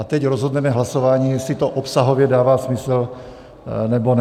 A teď rozhodneme hlasováním, jestli to obsahově dává smysl, nebo ne.